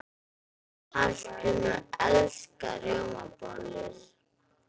Hallgrímur elskar rjómabollur.